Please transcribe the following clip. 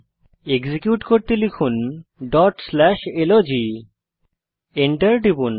execute করতে লিখুন dot slash log Enter টিপুন